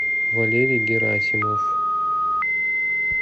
валерий герасимов